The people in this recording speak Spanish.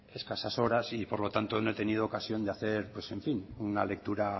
escasas horas y por lo tanto no he tenido ocasión de hacer pues en fin una lectura